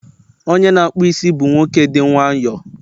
onye na-akpụ isi bụ nwoke dị nwayọọ